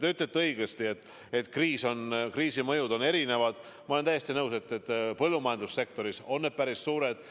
Te ütlesite õigesti, et kriisi mõjud on erinevad, ja ma olen täiesti nõus, et põllumajandussektoris on need päris suured.